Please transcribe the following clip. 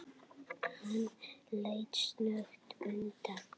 Hann leit snöggt undan.